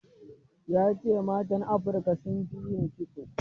Ya ce matan Afrika sun fi yin kitso.